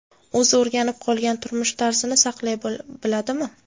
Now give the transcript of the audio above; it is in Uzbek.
O‘zi o‘rganib qolgan turmush tarzini saqlay biladimi?